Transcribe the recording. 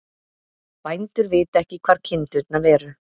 Bændur vita ekki hvar kindurnar eru